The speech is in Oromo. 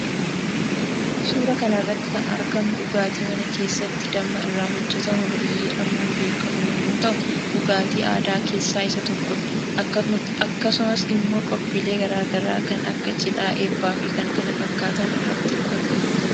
Suuraa kanarratti kan argamu dhugaatii mana kessatti dhamma irraa hojjetamu birzii jedhamuun beekamu yommuu ta'u dhugaatii aadaa keessaa isa tokkodha akkasumas immoo qophilee garaa garaa kan Akka cidhaa eebbaafi kan kana fakkatan irratti dhugama